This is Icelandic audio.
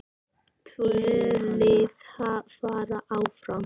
Tvö lið fara áfram.